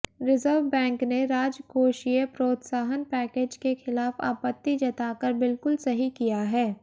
reserve bank ने राजकोषीय प्रोत्साहन पैकेज के खिलाफ आपत्ति जताकर बिल्कुल सही किया है